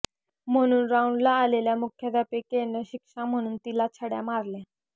म्हणून राउंडला आलेल्या मुख्याध्यापिकेनं शिक्षा म्हणून तिला छड्या मारल्या